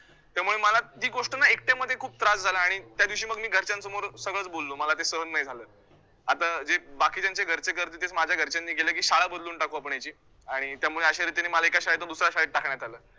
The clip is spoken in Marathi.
त्यामुळे मला जी गोष्ट ना एकट्यामध्ये खूप त्रास झाला आणि त्यादिवशी मग मी घरच्यासमोर सगळचं बोललो, मला ते सहन नाही झालं, आता अं जे बाकीच्यांच्या घरचे करतील तेच माझ्या घरच्यांनी केलं की शाळा बदलून टाकू आपण यांची आणि त्यामुळे अश्या रीतीने मला एका शाळेतनं दुसऱ्या शाळेत टाकण्यात आलं.